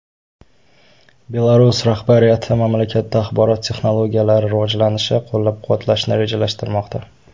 Belarus rahbariyati mamlakatda axborot texnologiyalari rivojlanishi qo‘llab-quvvatlashni rejalashtirmoqda.